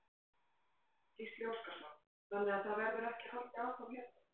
Gísli Óskarsson: Þannig að það verður ekki haldið áfram hérna?